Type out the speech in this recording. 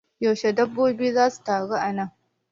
Yaushe dabbobin za su taru a nan?